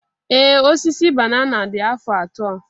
Ee Osisi banana dị afọ atọ.